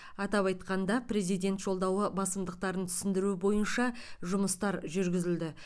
атап айтқанда президент жолдауы басымдықтарын түсіндіру бойынша жұмыстар жүргізілді